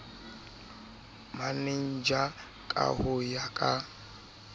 manager ka ho ya ka